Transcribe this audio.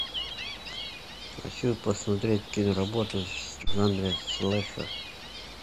хочу посмотреть киноработу в жанре слэшер